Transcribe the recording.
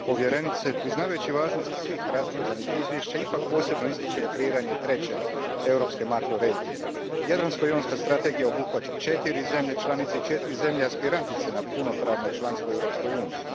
Gospođo Visoka povjerenice, priznavajući važnost svih raspravljanih izvješća, ipak posebno ističem kreiranje treće europske makroregije. Jadransko jonska strategija obuhvaća četiri zemlje članice i četiri zemlje aspirantice na punopravno članstvo u Europskoj uniji.